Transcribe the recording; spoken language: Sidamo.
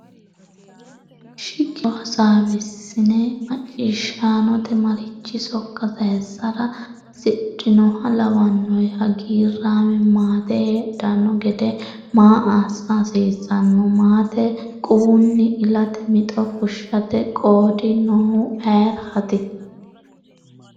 Shiqishaancho hasaawisenni macciishaanote marichi sokka sayissara hasidhinoha lawannohe? Hagiirraame maate heedhanno gede maa assa hasiissanno? Maate quwunni ilate mixo fushshate qoodi noohu ayeraati?